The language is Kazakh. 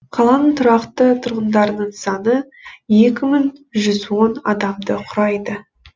қаланың тұрақты тұрғындарының саны екі мың жүз он адамды құрайды